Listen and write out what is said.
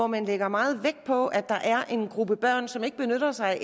man lægger meget vægt på at der er en gruppe børn som ikke benytter sig